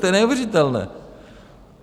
To je neuvěřitelné!